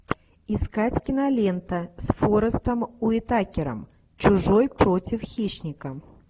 искать кинолента с форестом уитакером чужой против хищника